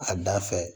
A da fɛ